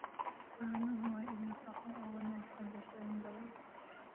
Caanuhu waa il nafaqo oo wanaagsan bulshooyin badan.